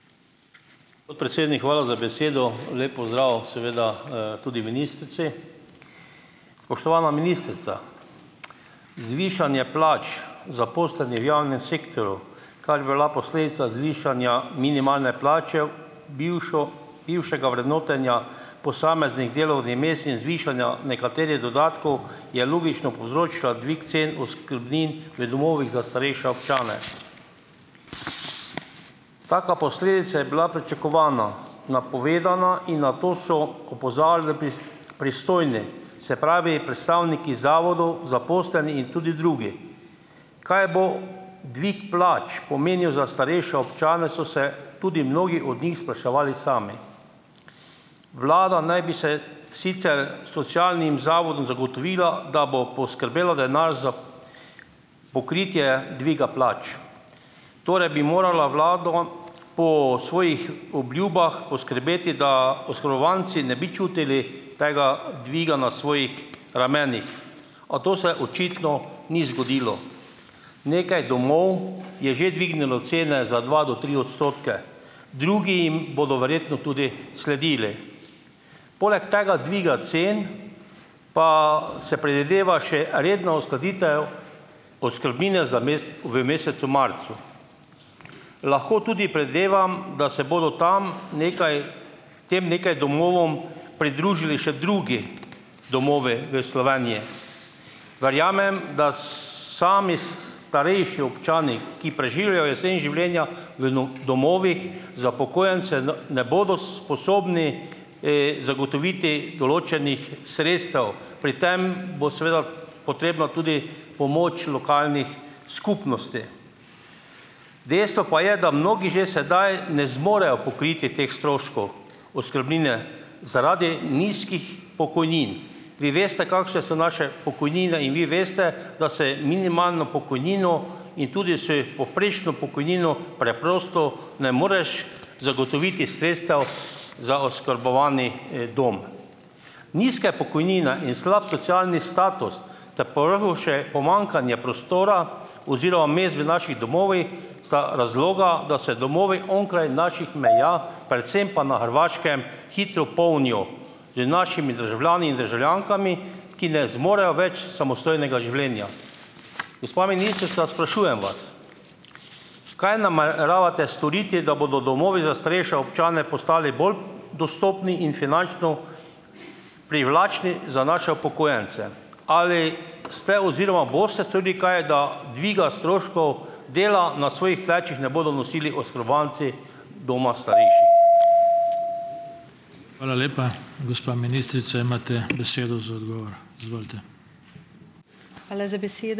Gospod podpredsednik, hvala za besedo. Lep pozdrav seveda, tudi ministrici. Spoštovana ministrica, zvišanje plač zaposlenih v javnem sektorju, kar bi bila posledica zvišanja minimalne plače, bivšo bivšega vrednotenja posameznih delov vmes in zvišanja nekaterih dodatkov je logično povzročila dvig cen oskrbnin v domovih za starejša občane. Taka posledica je bila pričakovana, napovedana in na to so opozarjali pristojni, se pravi, predstavniki zavodov, zaposleni in tudi drugi. Kaj bo dvig plač pomenil za starejše občane, so se tudi mnogi od njih spraševali sami. Vlada naj bi se sicer socialnim zavodom zagotovila, da bo poskrbela denar za pokritje dviga plač. Torej bi morala vlada po svojih obljubah poskrbeti, da oškodovanci ne bi čutili tega dviga na svojih ramenih, a to se očitno ni zgodilo. Nekaj domov je že dvignilo cene za dva do tri odstotke, drugi jim bodo verjetno tudi sledili. Poleg tega dviga cen pa se predvideva še redna uskladitev oskrbnine za v mesecu marcu. Lahko tudi predevam, da se bodo tem nekaj tem nekaj domovom pridružili še drugi domovi v Sloveniji. Verjamem, da, sami, starejši občani, ki preživljajo jesen življenja v no, domovih za upokojence, ne, ne bodo, sposobni, zagotoviti določenih sredstev. Pri tem bo seveda potrebna tudi pomoč lokalnih skupnosti. Dejstvo pa je, da mnogi že sedaj ne zmorejo pokriti teh stroškov oskrbnine zaradi nizkih pokojnin. Vi veste, kakšne so naše pokojnine, in vi veste, da se minimalno pokojnino in tudi s povprečno pokojnino preprosto ne moreš zagotoviti sredstev za oskrbovani, dom. Nizke pokojnina in slab socialni status ter povrhu še pomanjkanje prostora oziroma mest v naših domovih sta razloga, da se domovi onkraj naših meja, predvsem pa na Hrvaškem, hitro polnijo z našimi državljani in državljankami, ki ne zmorejo več samostojnega življenja. Gospa ministrica, sprašujem vas, kaj nameravate storiti, da bodo domovi za starejše občane postali bolj dostopni in finančno privlačni za naše upokojence. Ali ste oziroma boste storili kaj, da dviga stroškov dela na svojih plečih ne bodo nosili oskrbovanci doma starejših?